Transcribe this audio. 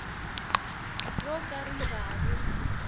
ro ka ri nga ri